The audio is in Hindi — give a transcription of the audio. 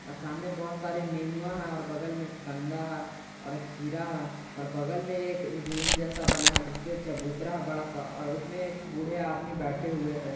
सामने बहुत सारे नेनुआ है और बगल में कंदा है और खीरा और बगल में एक रूम जैसा बना है जिस पे चबूतरा बड़ा सा और उसमें एक बूढ़े आदमी बैठे हुए हैं।